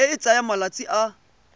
e e tsayang malatsi a